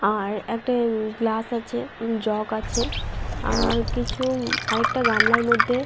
আর একটা গ্লাস আছে জগ আছে আর কিছু আর একটা গামলার মধ্যে।